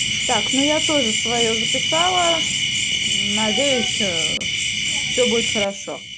так ну я тоже своё записала надеюсь ээ все будет хорошо